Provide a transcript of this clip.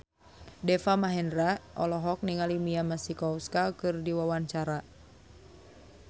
Deva Mahendra olohok ningali Mia Masikowska keur diwawancara